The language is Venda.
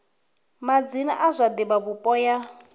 madzina a zwa divhavhupo ya